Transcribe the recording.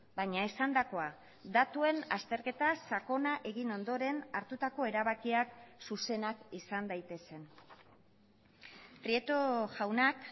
baina esandakoa datuen azterketa sakona egin ondoren hartutako erabakiak zuzenak izan daitezen prieto jaunak